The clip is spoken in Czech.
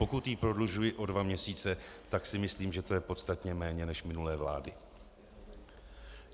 Pokud ji prodlužuji o dva měsíce, tak si myslím, že to je podstatně méně než minulé vlády.